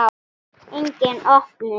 Engin opnun.